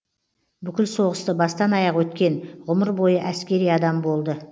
бүкіл соғысты бастан аяқ өткен ғұмыр бойы әскери адам болды